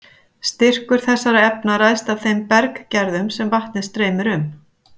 Styrkur þessara efna ræðst af þeim berggerðum sem vatnið streymir um.